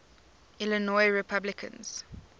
illinois republicans